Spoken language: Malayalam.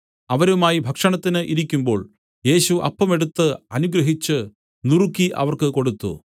അവരുമായി ഭക്ഷണത്തിന് ഇരിക്കുമ്പോൾ യേശു അപ്പം എടുത്തു അനുഗ്രഹിച്ചു നുറുക്കി അവർക്ക് കൊടുത്തു